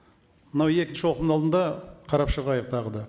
мынау екінші оқылымның алдында қарап шығайық тағы да